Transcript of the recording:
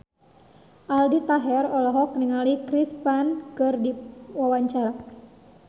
Aldi Taher olohok ningali Chris Pane keur diwawancara